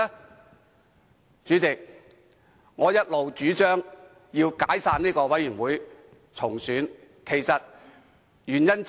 代理主席，這正是我一直主張解散專責委員會重選的原因之一。